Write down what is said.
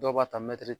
Dɔw b'a ta mɛtiri